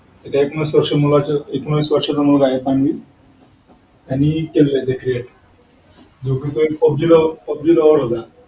एकूण आवीस वर्षाचा मूलगा आहे सर्वणी त्यांनी केलेल्या आहे ते create जो की तो एक pubg pubg lover होता